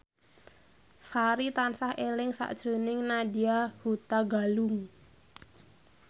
Sari tansah eling sakjroning Nadya Hutagalung